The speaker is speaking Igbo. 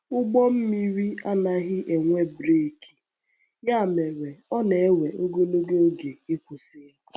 Ụgbọ mmiri anaghị enwe breeki, ya mere ọ na-ewe ogologo oge ịkwụsị ya.